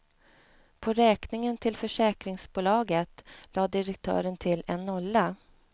På räkningen till försäkringsbolaget lade direktören till en nolla.